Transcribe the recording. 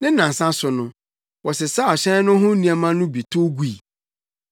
Ne nnansa so no, wɔsesaw hyɛn no ho nneɛma no bi tow gui.